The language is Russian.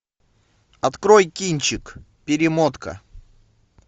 открой кинчик перемотка